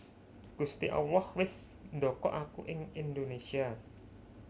Gusti Allah wis ndokok aku ing Indonésia